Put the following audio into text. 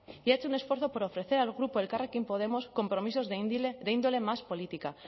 y ha hecho un esfuerzo por ofrecer al grupo elkarrekin podemos compromisos de índole más política